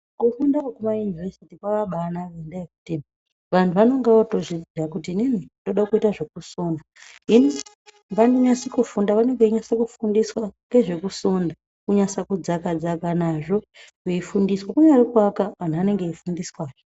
Kufunda kwekumayunivhesiti kwakabanaka ngendaa yekuti vantu vanenge votozviziya kuti inini ndinoda kuite zvekusona eii vanonyase kufunda vanenge venyase kufundiswa ngezvekusona kunyase kudzaka dzaka nazvo veifundiswa kunyari kuaka antu anenge eifundiswa.